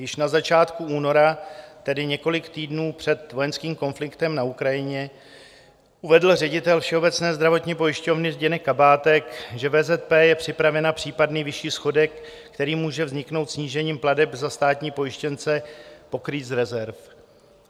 Již na začátku února, tedy několik týdnů před vojenským konfliktem na Ukrajině, uvedl ředitel Všeobecné zdravotní pojišťovny Zdeněk Kabátek, že VZP je připravena případný vyšší schodek, který může vzniknout snížením plateb za státní pojištěnce, pokrýt z rezerv.